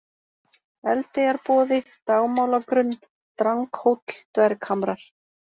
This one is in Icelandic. Eldeyjarboði, Dagmálagrunn, Dranghóll, Dverghamrar